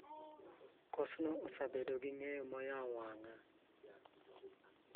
Kosno osebedo gi ng�eyo ma oyawo wang�a.